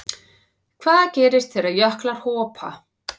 Hvað gerist þegar jöklar hopa?